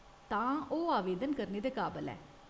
तां, ओह्‌‌ आवेदन करने दे काबल ऐ।